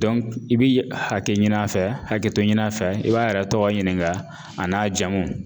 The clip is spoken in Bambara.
i bi hakɛ ɲin'a fɛ hakɛto ɲin'a fɛ i b'a yɛrɛ tɔgɔ ɲininka a n'a jamu